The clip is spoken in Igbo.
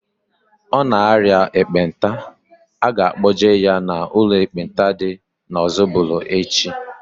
Ọ na aria ekpenta, a ga-kpọje ya n'ụlọ ekpenta dị n'Ozubulu echi